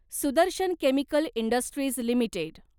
Sudarshan chemical industries limited